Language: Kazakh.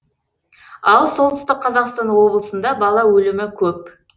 ал солтүстік қазақстан облысында бала өлімі көп